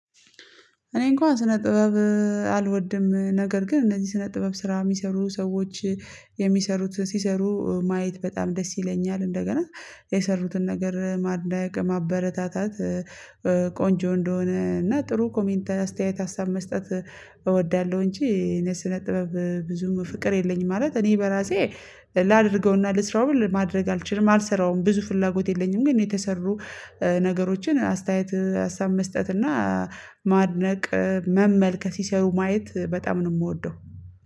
እኔ እንኳን ስነ ጥበብ። አልወድም ነገር ግን እነዚህ ስነ ጥበብ ስራ የሚሰሩ ሰዎች የሚሰሩት ሲሰሩ ማየት በጣም ደስ ይለኛል። እንደገና የሰሩትን ነገር ማድነቅ ማበረታታት ቆንጆ እንደሆነ እና ጥሩ ኮሜንት አስተያየት ሀሳብ መስጠት እወዳለሁ። እንጂ እኔ ስነ ጥበብ ብዙም ፍቅር የለኝም። ማለት እኔ በራሴ ላድርገውና ልስራው ብል ለማድረግ አልችልም አልሰራውም ብዙ ፍላጎት የለኝም። ግን የተሰሩ ነገሮችን አስተያየት ሀሳብ መስጠት እና ማድነቅ መመልከት ሲሰሩ ማየት በጣም ነው የምወደው